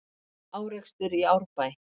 Árekstur í Árbæ